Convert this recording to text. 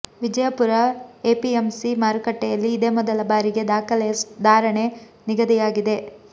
Vijayapura APMC ಮಾರುಕಟ್ಟೆಯಲ್ಲಿ ಇದೇ ಮೊದಲ ಬಾರಿಗೆ ದಾಖಲೆಯ ಧಾರಣೆ ನಿಗದಿಯಾಗಿದೆ